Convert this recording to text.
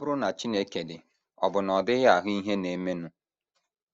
Ọ bụrụ na Chineke dị, ọ̀ bụ na ọ dịghị ahụ ihe na - emenụ?